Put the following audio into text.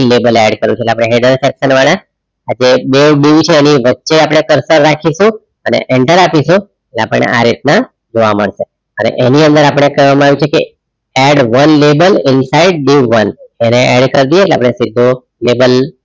આ બે dieu છે એની વચ્ચે આપણે coarser રાખીશું અને enter આપીશું આપણને આ રીતના જોવા મળશે અને એની અંદર આપણને કહેવામાં આવ્યું છે કે add one label inside dieu oneadd એને કરી દઈએ એટલે આપણે સીધુ lable